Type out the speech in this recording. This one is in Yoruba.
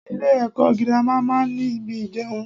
Ilẹ́ ẹ̀kọ́ girama máa ń ní ibi ìjẹun.